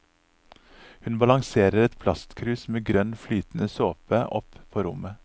Han balanserer et plastkrus med grønn flytende såpe opp på rommet.